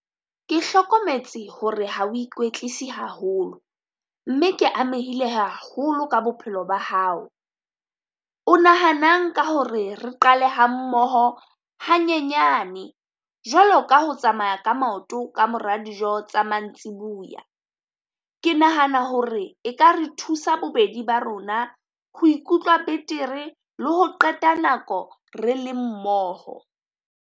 Ke hlokometse hore ha o ikwetlisi haholo, mme ke amehile haholo ka bophelo ba hao. O nahanang ka hore re qale hammoho hanyenyane jwalo ka ho tsamaya ka maoto ka mora dijo tsa mantsibuya? Ke nahana hore e ka re thusa bobedi ba rona ho ikutlwa betere le ho qeta nako re le mmoho.